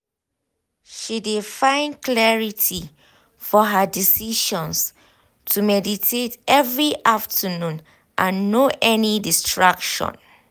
she de find clarity for her decisions to meditate every afternoon and no any distraction. um